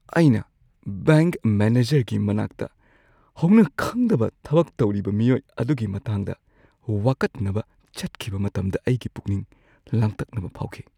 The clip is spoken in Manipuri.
ꯑꯩꯅ ꯕꯦꯡꯛ ꯃꯦꯅꯦꯖꯔꯒꯤ ꯃꯅꯥꯛꯇ ꯍꯧꯅꯈꯪꯗꯕ ꯊꯕꯛ ꯇꯧꯔꯤꯕ ꯃꯤꯑꯣꯏ ꯑꯗꯨꯒꯤ ꯃꯇꯥꯡꯗ ꯋꯥꯀꯠꯅꯕ ꯆꯠꯈꯤꯕ ꯃꯇꯝꯗ ꯑꯩꯒꯤ ꯄꯨꯛꯅꯤꯡ ꯂꯥꯡꯇꯛꯅꯕ ꯐꯥꯎꯈꯤ꯫